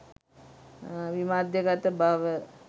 විමධ්‍යගත බව